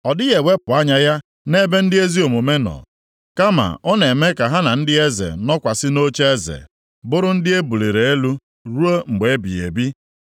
Ọ dịghị ewepụ anya ya + 36:7 Maọbụ, ịgbakụta azụ nʼebe ndị ezi omume nọ, kama ọ na-eme ka ha na ndị eze nọkwasị nʼocheeze, bụrụ ndị e buliri elu ruo mgbe ebighị ebi.